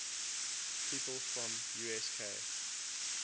people from usk